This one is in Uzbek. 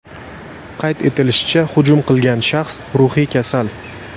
Qayd etilishicha, hujum qilgan shaxs ruhiy kasal.